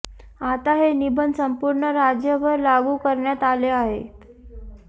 आता हे निर्बंध संपूर्ण राज्यभर लागू करण्यात आले आहेत